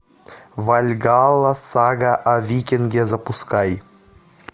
вальгалла сага о викинге запускай